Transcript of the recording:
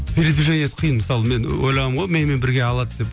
передвижениесі қиын мысалы мен ойлағанмын ғой менімен бірге алады деп